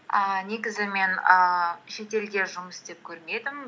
ііі негізі мен ііі шетелде жұмыс істеп көрмедім